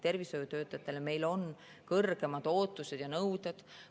Tervishoiutöötajatele on meil kõrgemad ootused ja nõuded.